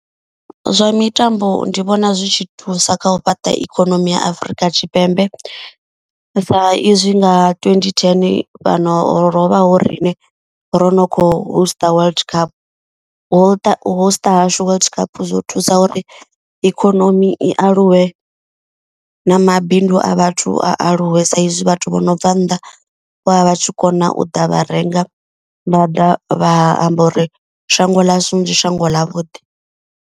Zwa mitambo ndi vhona zwi tshi thusa kha u fhaṱa ikonomi ya Afurika Tshipembe. Sa izwi nga twenty ten fhano rovha ho riṋe ro no kho host World Cup. U host hashu World Cup zwo thusa uri ikonomi i aluwe na mabindu a vhathu a aluwe. Saizwi vhathu vho no bva nnḓa vho vha vha tshi kona u ḓa vha renga. Vha ḓa vha amba uri shango ḽashu ndi shango ḽa vhuḓi.